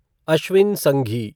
Ashwin Sanghi